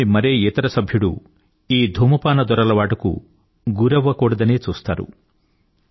కుటుంబంలోని మరే ఇతర సభ్యుడికీ ఈ ధూమపాన దురలవాటు అవ్వకూడదనే చూస్తారు